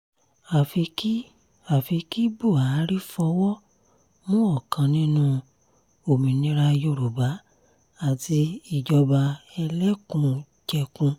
àfi kí àfi kí buhari fọwọ́ mú ọ̀kan nínú òmìnira yorùbá àti ìjọba ẹlẹ́kùn-jẹkùn